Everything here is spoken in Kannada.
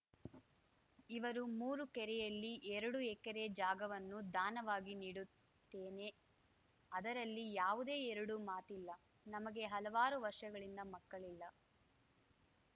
ಇರುವ ಮೂರು ಎಕರೆಯಲ್ಲಿ ಎರಡು ಎಕರೆ ಜಾಗವನ್ನು ದಾನವಾಗಿ ನೀಡುತ್ತೇನೆ ಅದರಲ್ಲಿ ಯಾವುದೇ ಎರಡು ಮಾತಿಲ್ಲ ನಮಗೆ ಹಲವಾರು ವರ್ಷಗಳಿಂದ ಮಕ್ಕಳಿಲ್ಲ